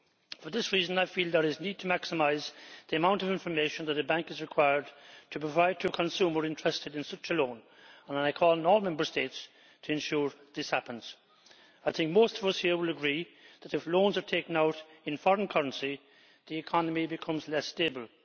For this reason, I feel there is a need to maximise the amount of information that a bank is required to provide to consumers interested in such a loan, and I call on all Member States to ensure this happens. I think most of us here would agree that if loans are taken out in a foreign currency, the economy becomes less stable.